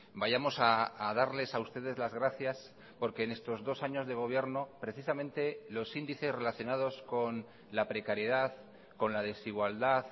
vayamos a darles a ustedes las gracias porque en estos dos años de gobierno precisamente los índices relacionados con la precariedad con la desigualdad